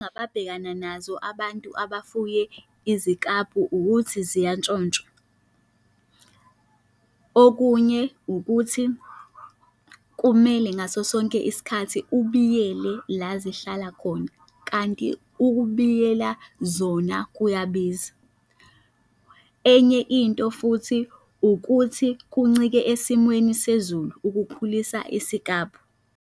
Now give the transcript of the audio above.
Ababhekana nazo abantu abafuye izikabhu ukuthi ziyantshontshwa. Okunye ukuthi kumele ngaso sonke isikhathi ubiyele la zihlala khona. Kanti ukubiyela zona kuyabiza. Enye into futhi, ukuthi kuncike esimweni sezulu ukukhulisa isikabhu.